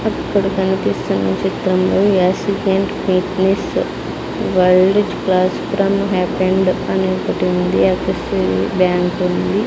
అక్కడ కనిపిస్తున్న చిత్రంలో యాసి paint fitness world is class from happened అని ఒకటి ఉంది అటు సై బ్యాంక్ ఉంది.